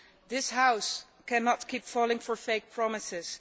This House cannot keep falling for fake promises